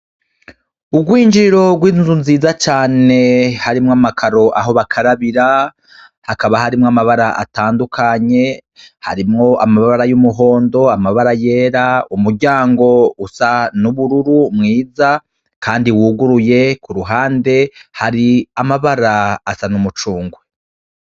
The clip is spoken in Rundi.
Urwinjiro rw'inzu nziza cane harimwo amakaro aho bakarabira hakaba harimwo amabara atandukanye harimwo amabara y'umuhondo amabara yera umuryango usa n'ubururu mwiza, kandi wuguruye ku ruhande hari amabara asa n'umuo cungwe.